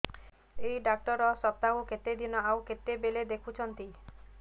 ଏଇ ଡ଼ାକ୍ତର ସପ୍ତାହକୁ କେତେଦିନ ଆଉ କେତେବେଳେ ଦେଖୁଛନ୍ତି